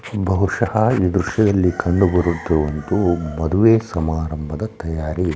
ಬಹುಷ್ಯಹ ಈ ದೃಶ್ಯದಲ್ಲಿ ಕಂಡುಬರುತ್ತಿರುವುದು ಮದುವೆ ಸಮಾರಂಭದ ತಯಾರಿ--